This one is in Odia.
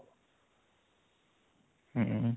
ହୁଁ